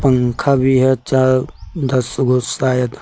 पंखा भी है चार दस गो शायद।